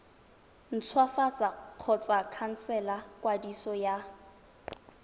ntshwafatsa kgotsa khansela kwadiso ya